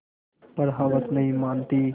पर हवस नहीं मानती